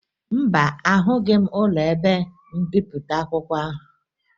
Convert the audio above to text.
Mba, ahụghị m ụlọ ebe mbipụta akwụkwọ ahụ